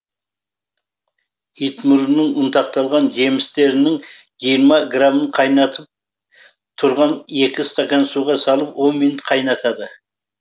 итмұрынның ұнтақталған жемістерінің жиырма грамын қайнатып тұрған екі стакан суға салып он минут қайнатады